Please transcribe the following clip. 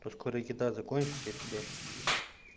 ну скоро еда закончится я тебя буду есть